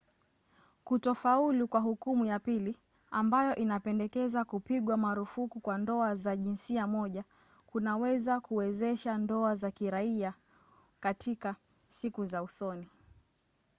kutofaulu kwa hukumu ya pili ambayo inapendekeza kupigwa marufuku kwa ndoa za jinsia moja kunaweza kuwezesha ndoa za kiraia katika siku za usoni